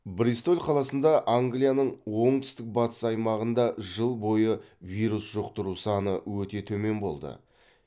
бристоль қаласында англияның оңтүстік батыс аймағында жыл бойы вирус жұқтыру саны өте төмен болды